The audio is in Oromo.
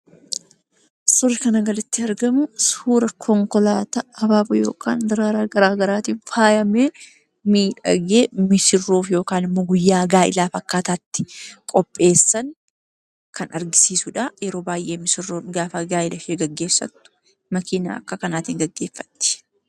Suurri kana gaditti argamu, suura konkolaataa habaaboo yookaan daraaraa gara garaatiin faayamee, miidhagee, missirroof yookaan immoo guyyaa gaa'elaaf akkaataatti qopheessan kan agarsiisudha. Yeroo baay'ee missirroon gaa'ela ishee gaafa gaggeeffattu akka kanaatiin gaggeeffatti.